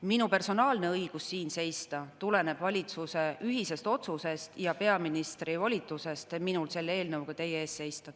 Minu personaalne õigus siin seista tuleneb valitsuse ühisest otsusest ja peaministri minule volitusest selle eelnõuga teie ees seista.